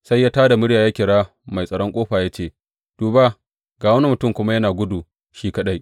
Sai ya tā da murya ya kira mai tsaron ƙofa ya ce, Duba, ga wani mutum kuma yana gudu shi kaɗai!